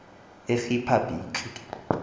yeriphabhliki